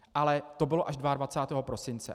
Ale to bylo až 22. prosince.